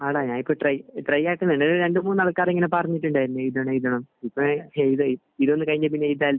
ആടാ. ഞാൻ ഇപ്പോൾ ട്രൈ കഴിഞ്ഞ ആഴ്ച നിലവിൽ രണ്ട് മൂന്ന് ആൾക്കാരെങ്കിലും പറഞ്ഞിട്ടുണ്ടായിരുന്നു ഈ